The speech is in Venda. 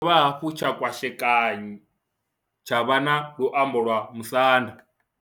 Tshi ya dovha hafhu tsha kwashekanyiwa tsha vha na luambo lwa Musanda.